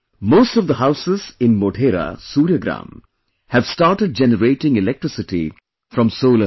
Most of the houses in Modhera Surya Gram have started generating electricity from solar power